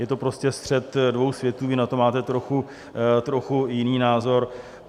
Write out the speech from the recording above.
Je to prostě střet dvou světů, vy na to máte trochu jiný názor.